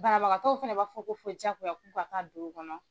Banabagatɔ dɔw fana b'a fɔ ko fɔ jagoya k'u ka taa don o kɔnɔ.